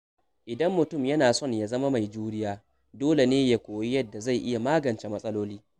Idan mutum yana son ya zama mai juriya, dole ne ya koyi yadda zai iya magance matsaloli.